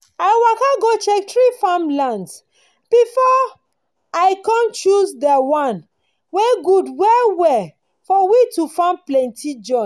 i waka go check three farmlands befor i com choose dey one wen gud well well for we to farm plenti join